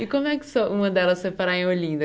E como é que so uma delas foi parar em Olinda?